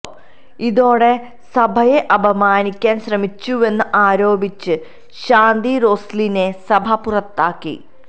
ഇതോടെ സഭയെ അപമാനിക്കാന് ശ്രമിച്ചുവെന്ന് ആരോപിച്ച് ശാന്തി റോസ്ലിനെ സഭ പുറത്താക്കി